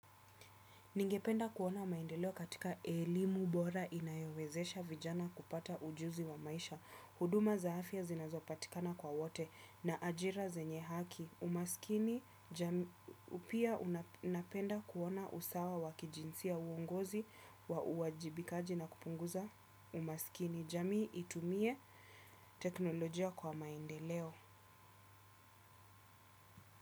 Ningependa kuona maendeleo katika elimu bora inayowezesha vijana kupata ujuzi wa maisha. Huduma za afya zinazopatikana kwa wote na ajira zenye haki. Umasikini pia unapenda kuona usawa wa kijinsia uongozi wa uwajibikaji na kupunguza umasikini. Jamii itumie teknolojia kwa maendeleo.